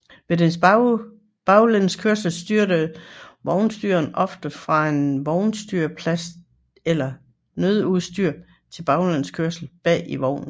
Ved den baglæns kørsel styrer vognstyreren oftest fra en vognstyrerplads eller nødudstyr til baglæns kørsel bag i vognen